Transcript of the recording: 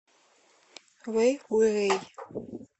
вэйхуэй